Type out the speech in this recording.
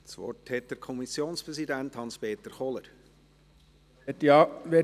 Ich gebe dem Kommmissionspräsidenten, Hans-Peter Kohler, das Wort.